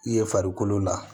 I ye farikolo la